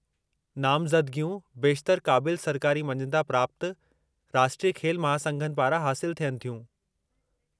नामज़दिगियूं बेशितरु क़ाबिलु सरकारी मञता प्राप्तु राष्ट्रीय खेल महासंघनि पारां हासिल थियनि थियूं।